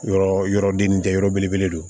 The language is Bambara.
Yɔrɔ yɔrɔ den ni tɛ yɔrɔ belebele don